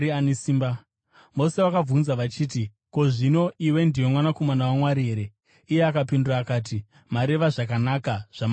Vose vakabvunza vachiti, “Ko, zvino iwe ndiwe Mwanakomana waMwari here?” Iye akapindura akati, “Mareva zvakanaka, zvamati ndini iye.”